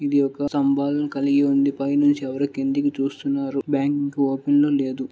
ఇది ఒక్క స్తంభాలు కలిగి ఉంది పైనుంచి ఎవరో కిందికి చూస్తున్నారు బ్యాంక్ ఇంకా ఓపెన్ లో లేదు.